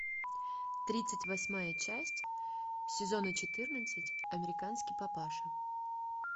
тридцать восьмая часть сезона четырнадцать американский папаша